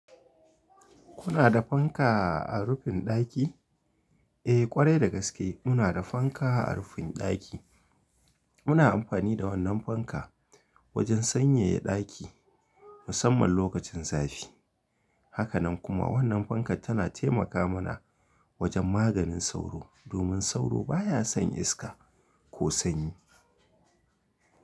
Kuna da fanka a rufin daki? Eh kwarai da gaske muna da fanka a rufin daki. Muna amfani da wannan fanka wajen sanyaya daki musamman lokacin zafi. Haka nan kuma wannan fankar tana taimaka muna wajen maganin sauro domin sauro baya son iska ko sanyi.